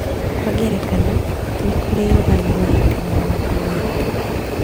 Kwa ngerekano, nĩ kũrĩ rũgano rwa hiti na mũnungo mwega: